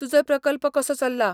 तुजो प्रकल्प कसो चल्ला?